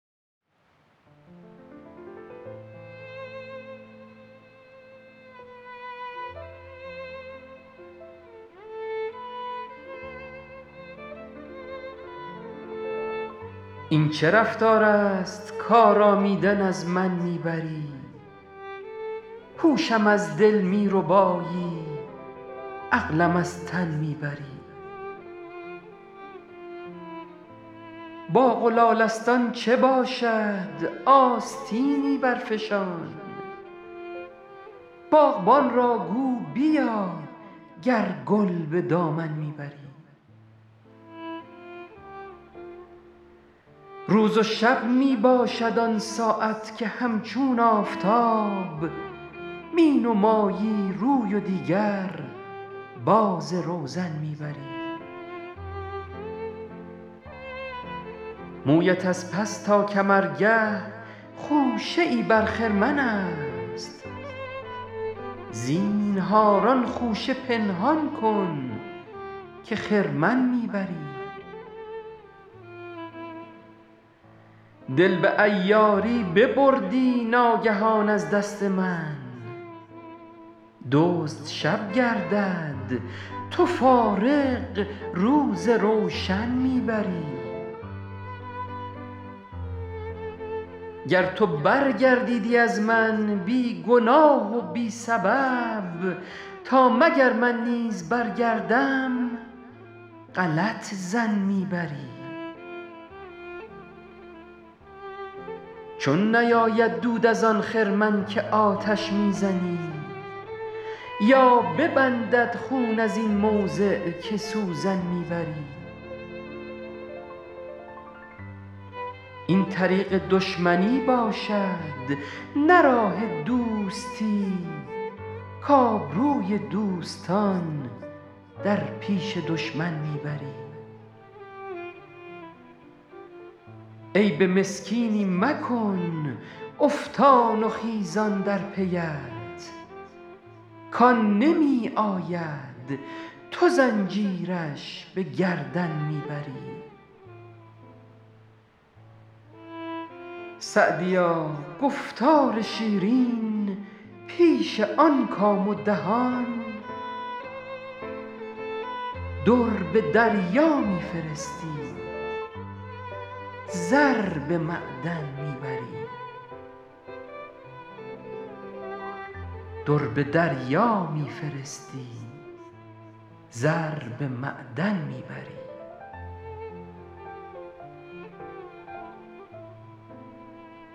این چه رفتار است کآرامیدن از من می بری هوشم از دل می ربایی عقلم از تن می بری باغ و لالستان چه باشد آستینی برفشان باغبان را گو بیا گر گل به دامن می بری روز و شب می باشد آن ساعت که همچون آفتاب می نمایی روی و دیگر باز روزن می بری مویت از پس تا کمرگه خوشه ای بر خرمن است زینهار آن خوشه پنهان کن که خرمن می بری دل به عیاری ببردی ناگهان از دست من دزد شب گردد تو فارغ روز روشن می بری گر تو برگردیدی از من بی گناه و بی سبب تا مگر من نیز برگردم غلط ظن می بری چون نیاید دود از آن خرمن که آتش می زنی یا ببندد خون از این موضع که سوزن می بری این طریق دشمنی باشد نه راه دوستی کآبروی دوستان در پیش دشمن می بری عیب مسکینی مکن افتان و خیزان در پی ات کآن نمی آید تو زنجیرش به گردن می بری سعدیا گفتار شیرین پیش آن کام و دهان در به دریا می فرستی زر به معدن می بری